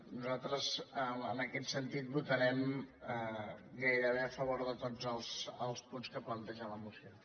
nosaltres en aquest sentit votarem gairebé a favor de tots els punts que planteja la moció